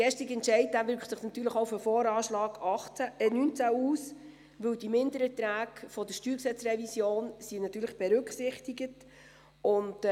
Der gestrige Entscheid wirkt sich natürlich auch auf den VA 2019 aus, weil die Mindererträge der StG-Revision natürlich berücksichtigt sind.